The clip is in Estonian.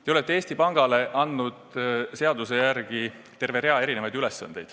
Te olete Eesti Pangale andnud seaduse järgi terve rea erisuguseid ülesandeid.